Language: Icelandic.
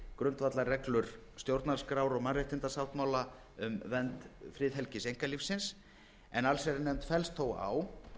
grundvallarreglur stjórnarskrár og mannréttindasáttmála um vernd friðhelgis einkalífsins en allsherjarnefnd fellst þó á